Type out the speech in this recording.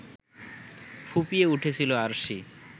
ফুঁপিয়ে উঠেছিল আরশি।